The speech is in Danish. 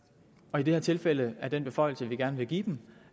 og i det her tilfælde er den beføjelse vi gerne vil give dem